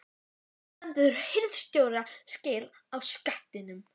ARI STENDUR HIRÐSTJÓRA SKIL Á SKATTINUM